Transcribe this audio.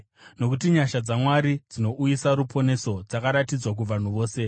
Nokuti nyasha dzaMwari dzinouyisa ruponeso dzakaratidzwa kuvanhu vose.